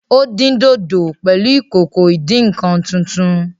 Ó dín dòdò pẹ̀lú ìkòkò ìdí -nǹkan tuntun